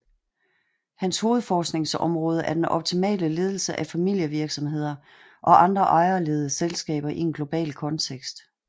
Hans hovedforskningsområde er den optimale ledelse af familievirksomheder og andre ejerledede selskaber i en global kontekst